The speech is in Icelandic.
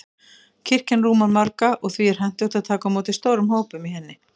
Kirkjan rúmar marga, og því er hentugt að taka á móti stórum hópum í henni.